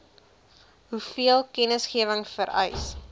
hoeveel kennisgewing vereis